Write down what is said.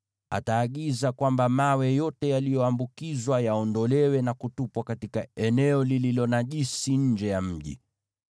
ataagiza kwamba mawe yote yaliyoambukizwa yaondolewe na kutupwa katika eneo lililo najisi nje ya mji.